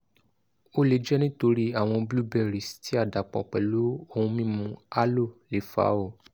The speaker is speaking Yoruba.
o le jẹ nitori awọn blueberries ti a dapọ pẹlu ohun mimu aloe le fa o